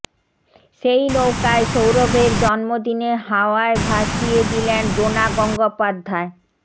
সেই নৌকায় সৌরভের জন্মদিনে হাওয়ায় ভাসিয়ে দিলেন ডোনা গঙ্গোপাধ্যায়